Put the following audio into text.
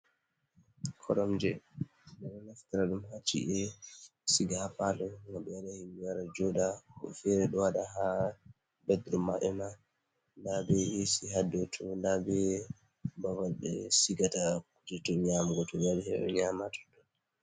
Koromje, ɓe naftra ɗum haa ci’e. Ɓe ɗo siga haa paalo ngam yimɓe ngara jooɗa. Woɓɓe feere ɗo waɗa haa ''bed room'' maɓɓe ma. Ndaa bee eesi haa dow too. Ndaa bee babal ɓe sigata kuuje to nyaamugo to ɓe wari ngam heɓa nyaama haa ton.